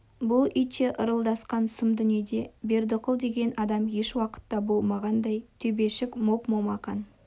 бұл итше ырылдасқан сұм дүниеде бердіқұл деген адам ешуақытта болмағандай төбешік моп-момақан